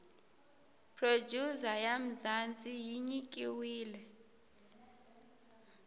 producer ya mzanzi yinyikiwile